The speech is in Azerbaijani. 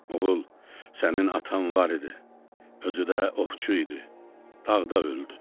Oğul, sənin atan var idi, özü də ovçu idi, dağda öldü.